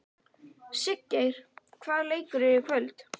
Siggeir, hvaða leikir eru í kvöld?